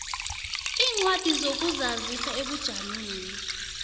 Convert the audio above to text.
iincwadi zokuzazisa ebujameni